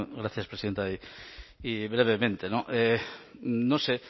gracias presidenta y brevemente no no sé